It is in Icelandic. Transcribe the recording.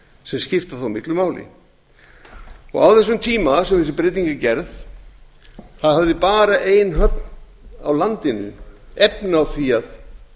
sem skipta þó miklu máli á þeim tíma sem þessi breyting er gerð hafði bara ein höfn á landinu efni á því að